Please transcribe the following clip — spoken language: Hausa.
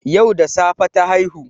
Yau da safe ta haihu